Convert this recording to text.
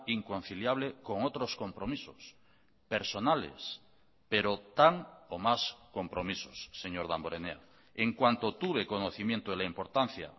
inconciliable con otros compromisos personales pero tan o más compromisos señor damborenea en cuanto tuve conocimiento de la importancia